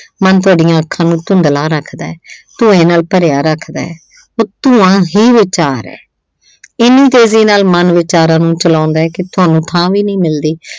ਮਨ ਤੁਹਾਡੀਆਂ ਅੱਖਾਂ ਨੂੰ ਧੁੰਦਲਾ ਰੱਖਦਾ। ਧੂੰਏਂ ਨਾਲ ਭਰਿਆ ਰੱਖਦਾ। ਉੱਤੋਂ ਆਹ ਹੀ ਵਿਚਾਰ ਏ, ਇੰਨੀ ਤੇਜ਼ੀ ਨਾਲ ਮਨ ਵਿਚਾਰਾਂ ਨੂੰ ਚਲਾਉਂਦਾ ਕਿ ਤੁਹਾਨੂੰ ਥਾਂ ਵੀ ਨਹੀਂ ਮਿਲਦੀ।